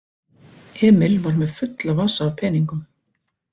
Emil var með fulla vasa af peningum.